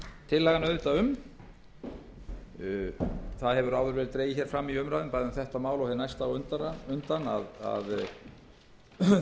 tillagan auðvitað áður hefur verið dregið fram í umræðum bæði um þetta mál og næsta á undan að það eru í